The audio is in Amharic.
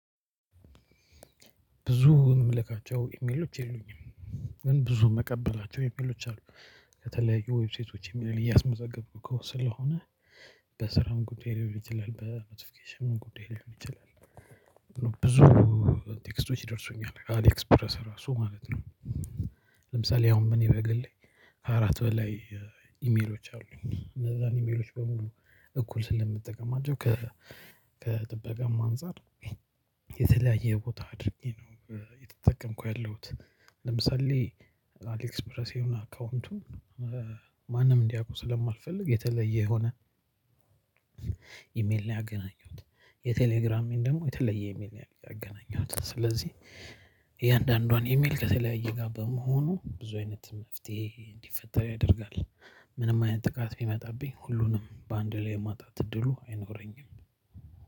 ብዙ የምልካቸው ኢሜሎች የሉኝም። ግን ብዙ የምቀበላቸው ኢሜሎች አሉ። ከተለያዩ ዌብሳይቶች ኢሚል እያስመዘገብኩ እኮ ስለሆነ። በስራውም ጉዳይ ላይ ይችላል በኖቲፊኬሽኑም ጉዳይ ላይ ሊሆን ይችላል። ብዙ ቴክስቶች ይደርሱኛል አሊ ኤክስፕረስ ራሱ ማለት ነው። ለምሳሌ አሁን እኔ በግሌ አራት በላይ ኢሜሎች አሉኝ። እነዛን ኢሜሎች በሙሉ እኩል ስለምትጠቀማቸው ከ ከጥበቃማ አንፃር የተለያየ ቦታ አድርጌ ነው። የተጠቀምኩ ያለሁት ለምሳሌ አሌክስፕረስ የሆነ አካውንቱ። ማንም እንዲያውቁ ስለማልፈልግ የተለየ የሆነ ኢሜል ላይ አገናኘሁት። የቴሌግራም ደግሞ የተለየ ኢሚል ነው ያገናኘሁት ስለዚህ። የእያንዳንዷን ኢሜል ከተለያየ ጋር በመሆኑ ብዙ አይነት መፍትሄ እንዲፈጠር ያደርጋል። ምንም አይነት ጥቃት ቢመጣብኝ ሁሉንም በአንድ ላይ የማጣት እድሉ አይኖረኝም።